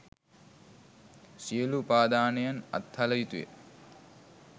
සියලු උපාදානයන් අත්හළ යුතුය.